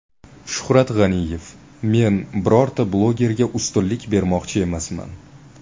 Shuhrat G‘aniyev: Men birorta blogerga ustunlik bermoqchi emasman.